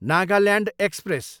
Nagaland express